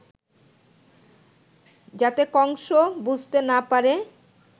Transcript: যাতে কংস বুঝতে না পারে